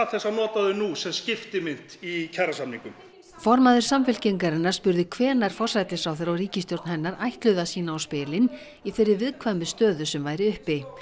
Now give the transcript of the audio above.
þess að nota þau nú sem skiptimynt í kjarasamningum formaður Samfylkingarinnar spurði hvenær forsætisráðherra og ríkisstjórn hennar ætluðu að sýna á spilin í þeirri viðkvæmu stöðu sem væri uppi